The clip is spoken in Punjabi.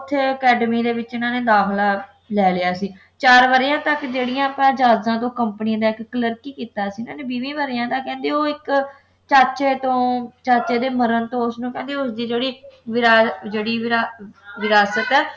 ਵਿੱਚ ਇਨ੍ਹਾਂ ਨੇ ਦਾਖਲਾ ਲੈ ਲਿਆ ਸੀ ਚਾਰ ਵਰ੍ਹਿਆਂ ਤੱਕ ਜਿਹੜੀਆਂ ਆਪਾਂ ਜਾਦਾਂ ਤੋਂ ਆਪਾਂ company ਦਾ ਇੱਕ ਕੀਤਾ ਸੀ ਇਨ੍ਹਾਂ ਨੇ ਵੀਹ ਵਰ੍ਹਿਆਂ ਤੱਕ ਕਹਿੰਦੇ ਇੱਕ ਚਾਚੇ ਤੋਂ ਚਾਚੇ ਦੇ ਮਰਨ ਤੋਂ ਉਸਨੂੰ ਕਹਿੰਦੇ ਉਸ ਦੀ ਜਿਹੜੀ ਵੀਰਾ ਜਿਹੜੀ ਵਿਰਾ ਵਿਰਾਸਤ ਹੈ